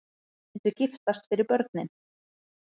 Myndu giftast fyrir börnin